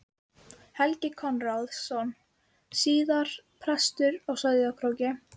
Helgi Konráðsson, síðar prestur á Sauðárkróki.